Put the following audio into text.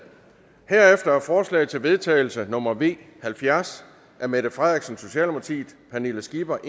herefter er forslag til vedtagelse nummer v halvfjerds af mette frederiksen pernille skipper